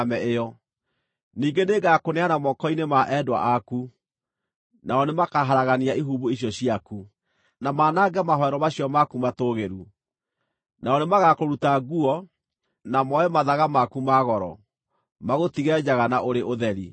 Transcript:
Ningĩ nĩngakũneana moko-inĩ ma endwa aku, nao nĩmakaharagania ihumbu icio ciaku, na manange mahooero macio maku matũũgĩru. Nao nĩmagakũruta nguo, na moe mathaga maku ma goro, magũtige njaga na ũrĩ ũtheri.